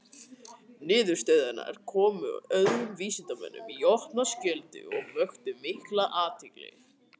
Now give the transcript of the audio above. Niðurstöðurnar komu öðrum vísindamönnum í opna skjöldu og vöktu allmikla athygli.